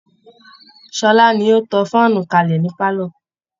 Ṣọlá ni ó tan fáànù kalẹ̀ ní pálọ̀